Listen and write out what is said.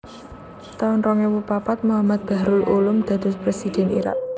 taun rong ewu papat Mohammed Bahrul Ulum dados Présidhèn Irak